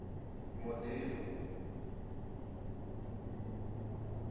mudzimu